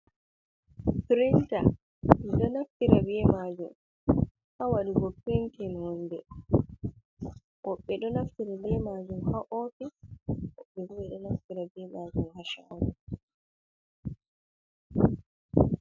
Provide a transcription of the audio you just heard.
Pirinta, ɓe ɗo naftira be majum ha waɗugo pintin wunde, woɓɓe ɗo naftira be majum ha ofis, woɓɓe ɗo naftira be majum ha shago.